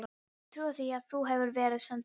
Ég trúi því að þú hafir verið send til mín.